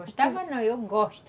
Gostava não, eu gosto.